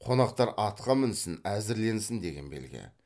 қонақтар атқа мінсін әзірленсін деген белгі